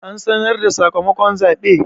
An sanar da sakamakon zaɓe?